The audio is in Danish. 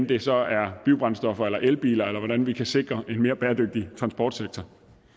det så er biobrændstoffer eller elbiler eller hvordan vi kan sikre en mere bæredygtig transportsektor